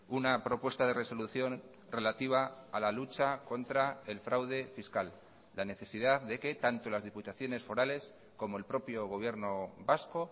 una propuesta de resolución relativa a la lucha contra el fraude fiscal la necesidad de que tanto las diputaciones forales como el propio gobierno vasco